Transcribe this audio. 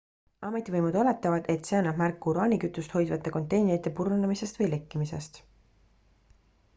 ametivõimud oletavad et see annab märku uraanikütust hoidvate konteinerite purunemisest või lekkimisest